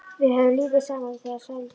Við höfðum lítið saman við þau að sælda.